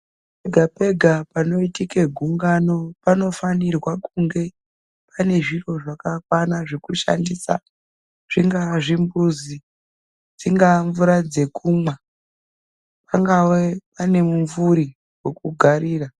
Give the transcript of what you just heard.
Pega pega panoitike gungano panofanirwe kunge pane zviro zvakakwana zvekushandisa. Zvingave zvimbuzi, dzingaa mvura dzekumwa. Pangave mumvuri wekugarira.